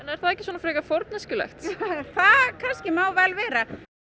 er það ekki frekar forneskjulegt það má vel vera